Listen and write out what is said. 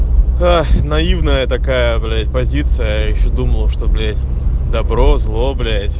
ой наивная такая бля позиция я вообще думал что блять добро зло блять